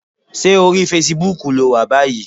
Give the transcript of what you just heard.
Ṣé orí fesibúùkù ló wà báyìí?